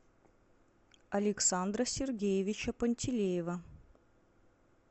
александра сергеевича пантелеева